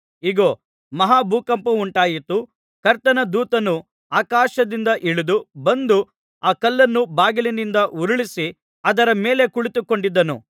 ಇಗೋ ಮಹಾ ಭೂಕಂಪವುಂಟಾಯಿತು ಕರ್ತನ ದೂತನು ಆಕಾಶದಿಂದ ಇಳಿದು ಬಂದು ಆ ಕಲ್ಲನ್ನು ಬಾಗಿಲಿನಿಂದ ಉರುಳಿಸಿ ಅದರ ಮೇಲೆ ಕುಳಿತುಕೊಂಡಿದ್ದನು